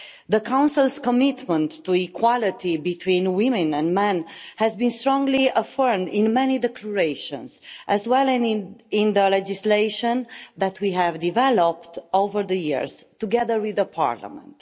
The Council's commitment to equality between women and men has been strongly affirmed in many declarations, as well as in the legislation that we have developed over the years together with Parliament.